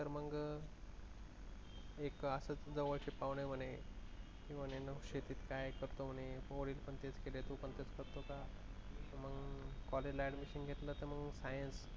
तर मग एक असेच जवळचे पाहुणे मने शेतीच काय करते रे वडील पण तेच करतात तू पण तेच करतो का? तर मग कॉलेजला admission घेतलं तर मग science